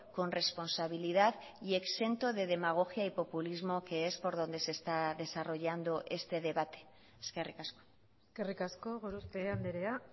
con responsabilidad y exento de demagogia y populismo que es por donde se está desarrollando este debate eskerrik asko eskerrik asko gorospe andrea